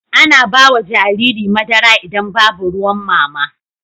Ana bawa Jariri madara idan Babu ruwan mama